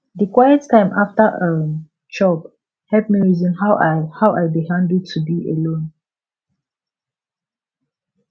di quiet time after um chop help me reason how i how i dey handle to be alone